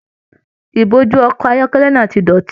Ìbojú ọkọ ayọkẹlẹ náà tí dọ́tì.